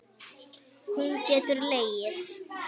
Hún getur legið.